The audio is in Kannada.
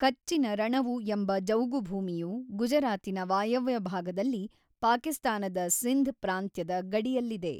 ಕಚ್ಚಿನ ರಣವು ಎಂಬ ಜೌಗುಭೂಮಿಯು ಗುಜರಾತಿನ ವಾಯವ್ಯ ಭಾಗದಲ್ಲಿ ಪಾಕಿಸ್ತಾನದ ಸಿಂಧ್ ಪ್ರಾಂತ್ಯದ ಗಡಿಯಲ್ಲಿದೆ.